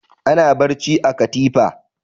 Ana barci a katifa.